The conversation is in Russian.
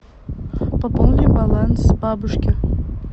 пополни баланс бабушки